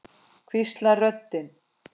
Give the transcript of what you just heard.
hvíslar röddin.